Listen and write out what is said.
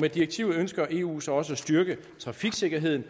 med direktivet ønsker eu så også at styrke trafiksikkerheden